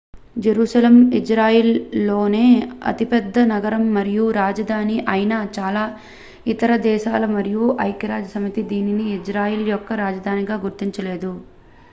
Jerusalem ఇజ్రాయెల్లోనే అతిపెద్ద నగరం మరియు రాజధాని ఐనా చాలా ఇతర దేశాలు మరియు ఐక్యరాజ్యసమితి దీనిని ఇజ్రాయెల్ యొక్క రాజధానిగా గుర్తించలేదు